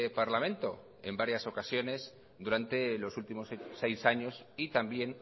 parlamento en varias ocasiones durante los últimos seis años y también